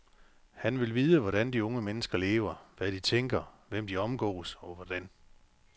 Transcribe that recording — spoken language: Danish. Han vil vide, hvordan de unge mennesker lever, hvad de tænker, hvem de omgås og hvordan.